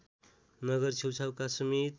नगर छेउछाउका समेत